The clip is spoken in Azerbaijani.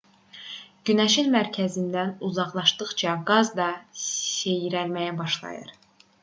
günəşin mərkəzindən uzaqlaşdıqca qaz da seyrəlməyə başlayır